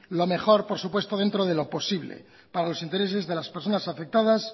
lo mejor por supuesto dentro de lo posible para los intereses de las personas afectadas